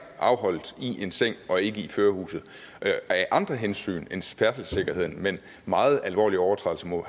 afholdes i en seng og ikke i førerhuset af andre hensyn end færdselssikkerheden men meget alvorlige overtrædelser må